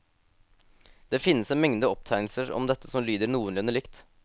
Det finnes en mengde opptegnelser om dette som lyder noenlunde likt.